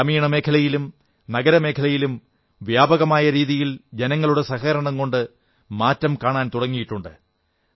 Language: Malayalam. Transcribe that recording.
ഗ്രാമീണമേഖലയിലും നഗരമേഖലയിലും വ്യാപകമായ രീതിയിൽ ജനങ്ങളുടെ സഹകരണം കൊണ്ട് മാറ്റം കാണാൻ തുടങ്ങിയിട്ടുണ്ട്